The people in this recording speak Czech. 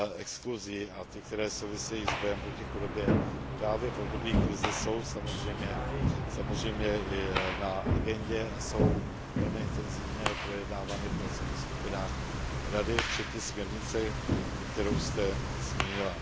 exkluzí, a ty, které souvisejí s bojem proti chudobě právě v období krize, jsou samozřejmě na agendě a jsou velmi intenzívně projednávány v pracovních skupinách Rady, a to včetně směrnice, kterou jste zmínila.